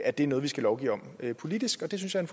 at det er noget vi skal lovgive om politisk og det synes jeg